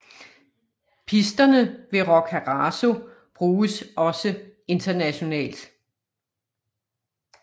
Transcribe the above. Pisterne ved Roccaraso bruges også internationalt